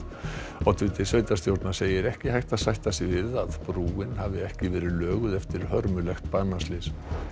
oddviti sveitarstjórnar segir ekki hægt að sætta sig við að brúin hafi ekki verið löguð eftir hörmulegt banaslys